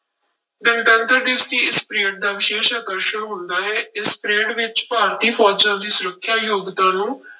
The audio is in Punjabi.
ਗਣਤੰਤਰ ਦਿਵਸ ਦੀ ਇਸ ਪ੍ਰੇਡ ਦਾ ਵਿਸ਼ੇਸ਼ ਆਕਰਸ਼ਣ ਹੁੰਦਾ ਹੈ, ਇਸ ਪ੍ਰੇਡ ਵਿੱਚ ਭਾਰਤੀ ਫ਼ੌਜ਼ਾਂ ਦੀ ਸੁਰੱਖਿਆ ਯੋਗਤਾ ਨੂੰ